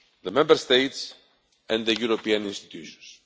the Member States and the European institutions.